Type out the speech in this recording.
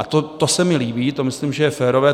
A to se mi líbí, to myslím, že je férové.